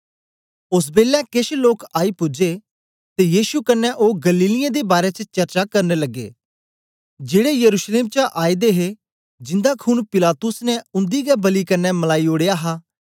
ओस बेलै केछ लोक आई पूजे ते यीशु कन्ने ओ गलीलियें दे बारै च चर्चा करन लगी पे जेड़े यरूशलेम चा आए दे हे जिंदा खून पिलातुस ने उन्दी गै बलि कन्ने मलाई ओडया हा